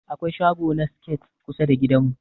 Akwai shago na siket kusa da gidan mu.